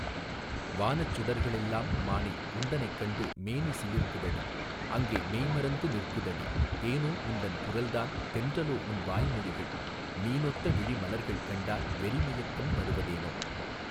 வானச் சுடர்களெல்லாம் மானே உந்தனைக் கண்டு மேனி சிலிர்க்குதடி அங்கே மெய்மறந்து நிற்குதடிதேனோ உந்தன் குரல்தான் தென்றலோ உன் வாய் மொழிகள் மீனொத்த விழி மலர்கள் கண்டால் வெறி மயக்கம் தருவதேனோ.